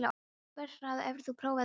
Vernharð, hefur þú prófað nýja leikinn?